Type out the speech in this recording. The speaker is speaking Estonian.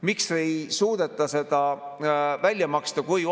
Miks ei suudeta seda välja maksta?